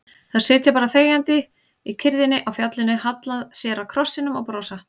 Þær sitja bara þegjandi í kyrrðinni á fjallinu, halla sér að krossinum og brosa.